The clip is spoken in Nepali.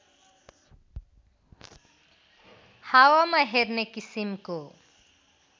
हावामा हेर्ने किसिमको